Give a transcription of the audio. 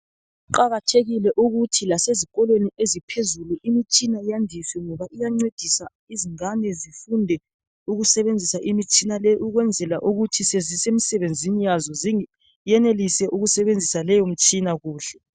Kuqakathekile ukuthi lasezikolweni eziphezulu imitshina yandiswe ngoba iyancedisa izingane zifunde ukusebenzisa imitshina le ukwenzela ukuthi sezisemisebenzini yazo ziyenelise ukusebenzisa leyo mitshina kuhle.